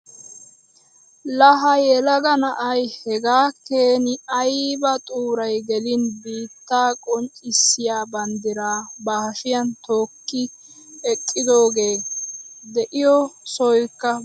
La ha yelaga na'aay hegaa keeni ayba xuuray geliinee biittaa qonccisiyaa banddiraa ba hashiyaan tookki eqqidoogee! i de'iyoo sohoykka bazo milatees.